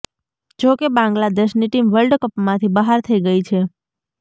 જો કે બાંગ્લાદેશની ટીમ વર્લ્ડ કપમાંથી બહાર થઇ ગઇ છે